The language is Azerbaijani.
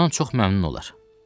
Bundan çox məmnun olar.